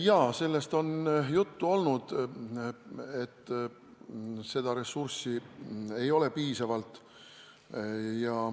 Jaa, sellest on juttu olnud, et seda ressurssi ei ole piisavalt.